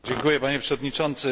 Panie Przewodniczący!